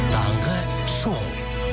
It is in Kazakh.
таңғы шоу